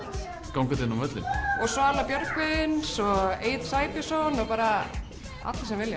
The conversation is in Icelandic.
gangandi inn á völlinn og Svala Björgvins og Egill Sæbjörnsson allir sem vilja